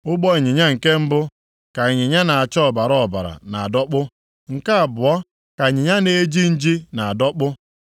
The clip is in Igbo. Ụgbọ ịnyịnya nke mbụ ka ịnyịnya na-acha ọbara ọbara na-adọkpụ. Nke abụọ ka ịnyịnya na-eji nji na-adọkpụ.